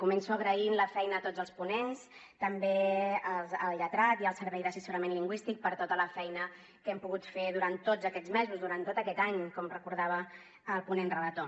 començo agraint la feina a tots els ponents també al lletrat i al servei d’assessorament lingüístic per tota la feina que hem pogut fer durant tots aquests mesos durant tot aquest any com recordava el ponent relator